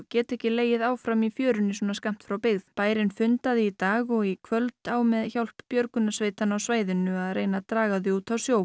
geta ekki legið áfram í fjörunni svona skammt frá byggð bærinn fundaði í dag og í kvöld á með hjálp björgunarsveitanna á svæðinu að reyna að draga þau út á sjó